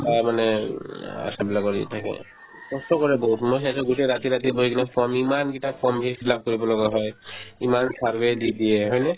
তাৰমানে উম আশাবিলাকৰ হেৰি থাকে কষ্ট কৰে বহুত ন সিহঁতে গোটে ৰাতি ৰাতি বহি কিনে form ইমানকেইটা form সেইবিলাক কৰিব লগা হয় ইমান survey দি দিয়ে হয়নে ?